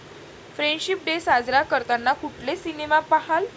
Friendship day साजरा करताना कुठले सिनेमे पाहाल?